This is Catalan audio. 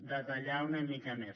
detallar ho una mica més